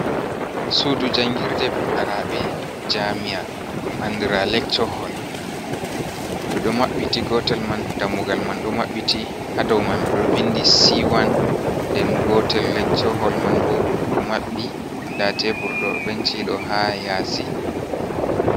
Sudu jangirde fukaraɓe jamia dum andira leccho hol, ɗo ɗo mabbiti gotel man dammugal man ɗo maɓɓiti, hadau man ɗo vindi sewan, nden gotel leccho hol man bo do mabbi nda teburdo benci ɗo ha yasi,